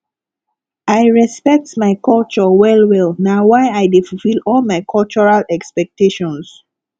i respect my culture wellwell na why i dey fulfil all my cultural expectations